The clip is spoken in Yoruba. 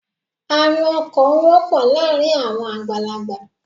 Arún ọkàn wọpọ láàrin àwọn àgbàlágbà